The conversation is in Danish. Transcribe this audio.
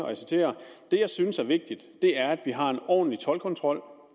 det jeg synes er vigtigt det er at vi har en ordentlig toldkontrol